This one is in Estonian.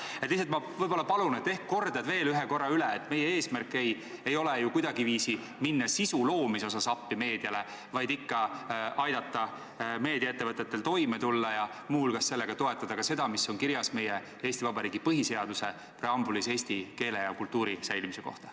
Ma lihtsalt võib-olla palun, et ehk kordad veel ühe korra üle, et meie eesmärk ei ole ju kuidagiviisi minna sisu loomise asjas meediale appi, vaid ikka aidata meediaettevõtetel toime tulla ja muu hulgas sellega toetada seda, mis on kirjas Eesti Vabariigi põhiseaduse preambulis eesti keele ja kultuuri säilimise kohta.